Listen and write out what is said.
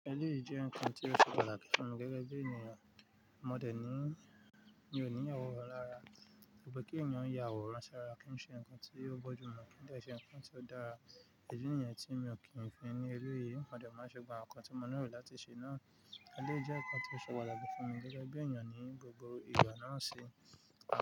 Ẹléyìí jẹ́ ǹkan tó ṣe pàtàkì fún mi gẹ́gẹ́ bí ènìyàn. Mọ̀dẹ̀ ní ì ni ò ní àwòrán lára, ṣùgbọ́n kí ẹ̀yin òún ya àwòrán ṣára kí n ṣe ǹkan tí yóò bójúmọ́ kí n dẹ̀ ẹ́ ṣe ǹkan tí ó dára. Ìdí nìyan tí mi ò kí ń fẹ́ ní eléyìí, mọ̀dẹ̀ máa ṣe gbà àwọn ǹkan tí mo nílò láti ṣe náà. Ẹléyìí jẹ́ ǹkan tí ó ṣe pàtàkì fún mi gẹ́gẹ́ bí ènìyàn ní gbogbo ìgbà náà ṣe.